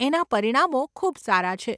એના પરિણામો ખૂબ સારા છે.